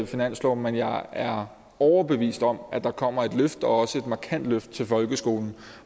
finansloven men jeg er overbevist om at der kommer et løft og også et markant løft til folkeskolen